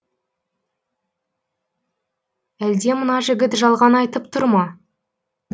әлде мына жігіт жалған айтып тұр ма